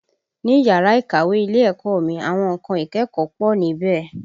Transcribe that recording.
Ni yàrá ìkàwé ilé ẹ̀kọ́ mi, àwọn nǹkan ìkẹ́kọ̀ọ́ pọ̀ níbẹ̀